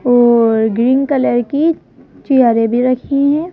और green colour की चेयरे भी रखी हुई है।